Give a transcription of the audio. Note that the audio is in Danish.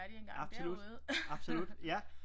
Absolut absolut ja